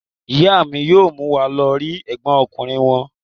Ìyá mi yóò mú wa lọ rí ẹ̀gbọ́n ọkùnrin wọn.